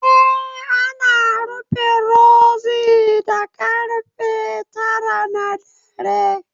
Eh, ana rufe Rozi da karfe tara na dare